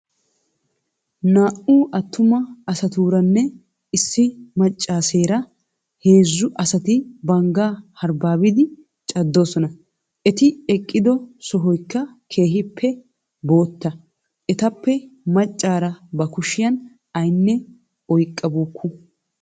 Naa"u attuma asaatuuranne issi maccaaseera heezzu asati banggaa harbbaabidi caddoosona. Eti eqqido sohoykka keehippe bootta. Etappe macaara ba kushiyan aynne oyqqabuukku.